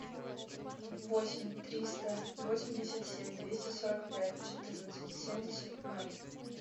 восемь триста восемьдесят семь двести сорок пять четырнадцать семьдесят ноль